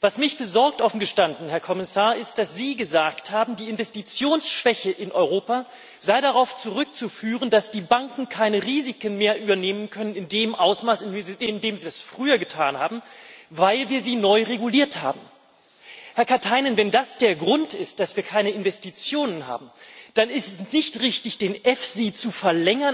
Was mich besorgt, offen gestanden, Herr Kommissar, ist, dass Sie gesagt haben, die Investitionsschwäche in Europa sei darauf zurückzuführen, dass die Banken keine Risiken mehr in dem Ausmaß übernehmen können, in dem sie es früher getan haben, weil wir sie neu reguliert haben. Herr Katainen, wenn das der Grund ist, dass wir keine Investitionen haben, dann ist es nicht richtig, den EFSI